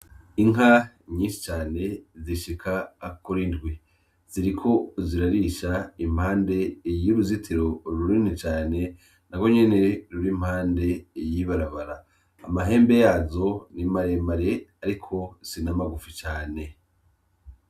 Inka nyinshi cane zishika kuri ndwi ziriko zirarisha impande y'uruzitiro runini cane nagwo nyene ruri impande y'ibarabara amahembe yazo ni maremare ariko si n'amagufi cane